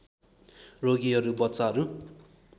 रोगीहरू बच्चाहरू